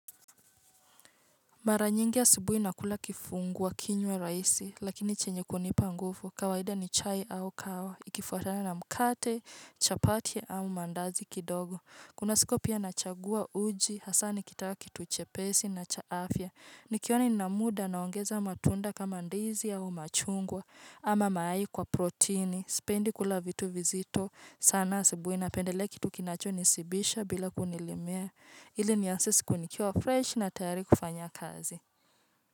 Mara nyingi asubuhi nakula kifungua kinywa rahisi, lakini chenye kunipa nguvu, kawaida ni chai au kawa, ikifuatana na mkate, chapati au mandazi kidogo. Kuna siku pia nachagua uji, hasa nikitaka kitu chepesi na cha afya, nikiona ina muda naongeza matunda kama ndizi au machungwa, ama mayai kwa protini. Sipendi kula vitu vizito sana asubuhi napendelea kitu kinacho nishibisha bila kunilimea ili nianze siku nikiwa fresh na tayari kufanya kazi.